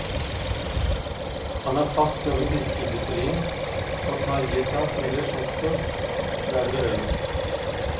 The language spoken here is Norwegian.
Han har fast jobb i fiskeindustrien, og tar i et tak ellers også der det behøves.